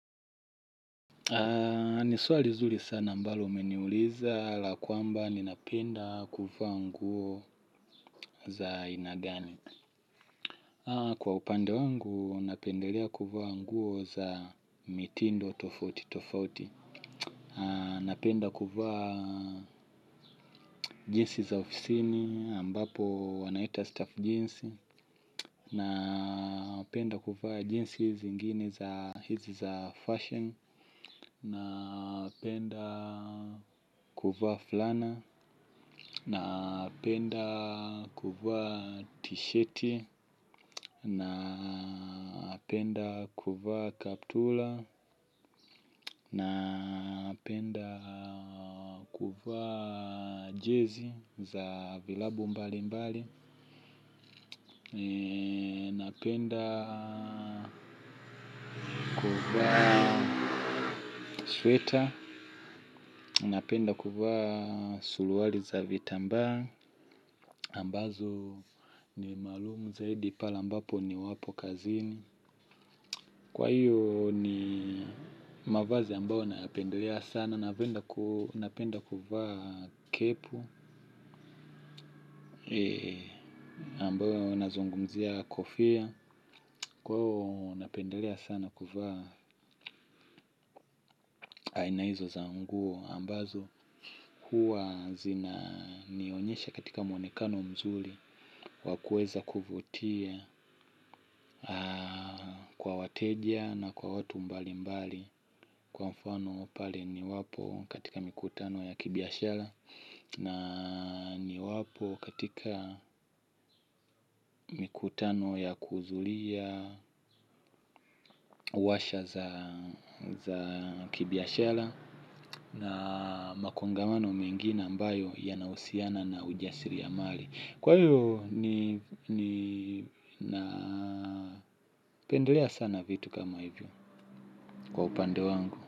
Ni swali zuri sana mbalo umeniuliza la kwamba ninapenda kuvaa nguo za aina gani. Kwa upande wangu napendelea kuvaa nguo za mitindo tofauti tofauti. Napenda kuvaa jeansi za ofisini ambapo wanaita staff jeansi. Napenda kuvaa jeansi hizi zingine za fashion. Napenda kuvaa fulana. Napenda kuvaa t-shirt. Napenda kuvaa kaptula. Napenda kuvaa jezi za vilabu mbali mbali. Napenda kuvaa sweater. Napenda kuvaa suluali za vitambaa ambazo ni maalumu zaidi pale mbapo niwapo kazini. Kwa hiyo ni mavazi ambayo napendelea sana. Napenda kuvaa kepu ambayo nazungumzia kofia. Kwa hiyo napendelea sana kuvaa. Aina hizo za nguo ambazo huwa zina nionyesha katika mwonekano mzuli wakueza kuvutia kwa wateja na kwa watu mbali mbali kwa mfano pale niwapo katika mikutano ya kibiashala na niwapo katika mikutano ya kuzulia uwasha za kibiashala na makongamano mengine ambayo yanahusiana na ujasiria mali kwa hiyo ninapendlea sana vitu kama hivyo. Kwa upande wangu.